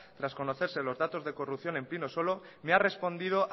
tras conocerse los datos de corrupción en pinosolo me ha respondido